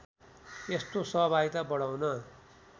यस्तो सहभागिता बढाउन